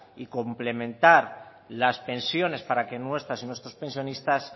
y complementar las pensiones para que nuestras y nuestros pensionistas